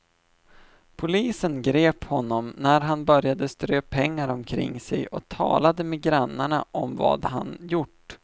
Polisen grep honom när han började strö pengar omkring sig och talade med grannarna om vad han gjort.